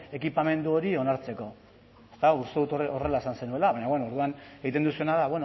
ekipamendu hori onartzeko eta uste dut horrela esan zenuela baina bueno orduan egiten duzuna da